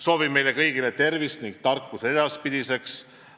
Soovin meile kõigile tervist ning tarkust edaspidiseks.